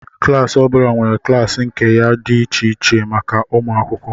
Klas ọ bụla nwere klaasị nke ya dị iche iche maka ụmụ akwụkwọ